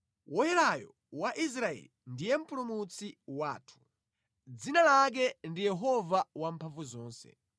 Woyerayo wa Israeli ndiye Mpulumutsi wathu, dzina lake ndi Yehova Wamphamvuzonse.